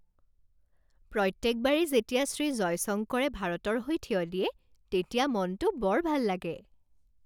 প্ৰত্যেকবাৰেই যেতিয়া শ্ৰী জয়শংকৰে ভাৰতৰ হৈ থিয় দিয়ে, তেতিয়া মনটো বৰ ভাল লাগে